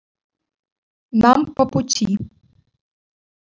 нам по пути